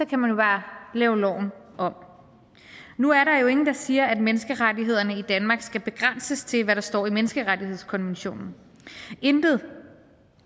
kan man bare lave loven om nu er der jo ingen der siger at menneskerettighederne i danmark skal begrænses til hvad der står i menneskerettighedskonventionen intet